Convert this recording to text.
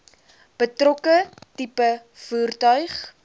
betrokke tipe voertuig